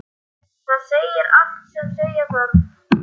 Það segir allt sem segja þarf.